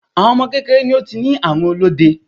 Awon ọmọ kékeré ni ó ti ní àrùn olóde.